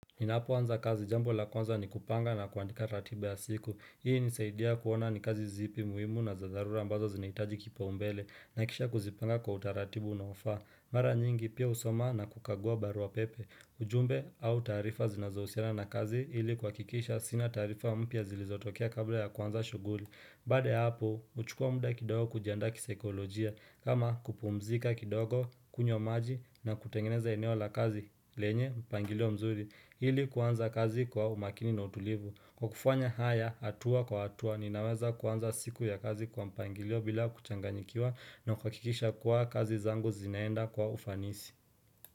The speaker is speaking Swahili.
Ninapo anza kazi jambo la kwanza ni kupanga na kuandika ratiba ya siku. Hii hunisaidia kuona ni kazi zipi muhimu na za dharura ambazo zinahitaji kipaumbele. Na kisha kuzipanga kwa utaratibu unaofa. Mara nyingi pia husoma na kukagua barua pepe. Ujumbe au taarifa zinazohusiana na kazi ili kuakikisha sina taarifa mpya zilizotokea kabla ya kuanza shughuli. Baada ya hapo, uchukua muda kidogo kujiandaa kisaikolojia. Kama kupumzika kidogo, kunywa maji na kutengeneza eneo la kazi lenye mpangilio mzuri. Ili kuanza kazi kwa umakini na utulivu. Kwa kufanya haya, atua kwa atua, ninaweza kuanza siku ya kazi kwa mpangilio bila kuchanganyikiwa na kuhakikisha kuwa kazi zangu zinaenda kwa ufanisi.